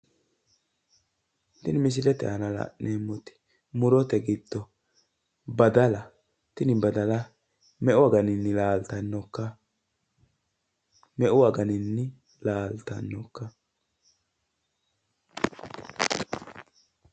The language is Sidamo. Tini misilete aana la'neemmoti murote giddo badala tini badala meu aganinni laaltannokka?